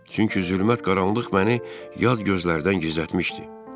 Çünki zülmət qaranlıq məni yad gözlərdən gizlətmişdi.